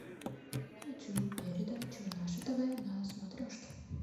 хочу передачу наше тв на смотрешке